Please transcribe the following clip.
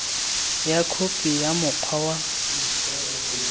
ka khophi ya mokgwa wa